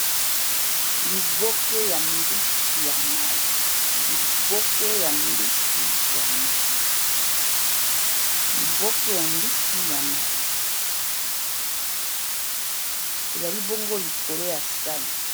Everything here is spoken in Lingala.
liboke ya mbisi ya mai ezali bongo likolo ya sani